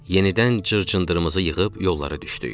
Yenidən cır-cındırımızı yığıb yollara düşdük.